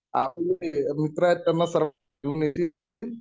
आपले जे मित्र त्यांना सर्वांना